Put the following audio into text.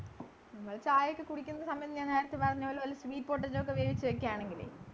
നമ്മള് ചായയൊക്കെ കുടിക്കുന്ന സമയം ഞാൻ നേരത്തെ പറഞ്ഞ പോലെ വല്ല sweet potato ഒക്കെ വേവിച്ചു വയ്ക്കാണെങ്കില്